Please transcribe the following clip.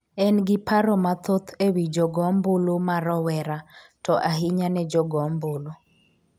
en gi paro mathoth e wi jogo ombulu ma rowera to ahinya ne jogo ombulu